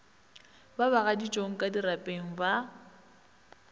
ba bagaditšong ka dirapeng ba